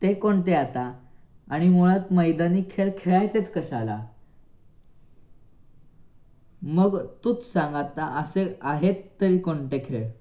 ते कोणते आता आणि मुळात मैदानी खेळ खेळायचेच कशाला. मग तुच सांग आता असे आहे तरी कोणते खेळ?